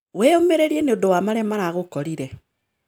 Wĩyũmĩrĩrie nĩũndũ wa marĩa maragũkorire